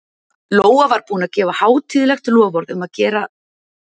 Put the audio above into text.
Lóa var búin að gefa hátíðlegt loforð um að það gerðist ekki aftur.